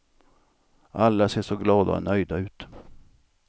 Alla ser så glada och nöjda ut.